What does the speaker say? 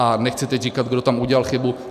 A nechci teď říkat, kdo tam udělal chybu.